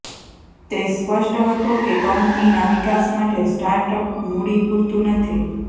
તે સ્પષ્ટ હતો કે કંપનીના વિકાસ માટે સ્ટાર્ટ અપ મૂડી પૂરતું નથી